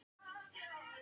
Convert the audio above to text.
Og hvað olli því?